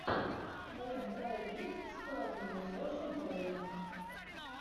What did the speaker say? в твоем каталоге есть психологини с джошем бролином